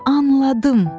Anladım.